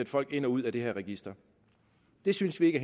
folk ind og ud af det her register det synes vi ikke